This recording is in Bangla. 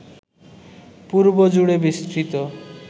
পূর্ব জুড়ে বিস্তৃত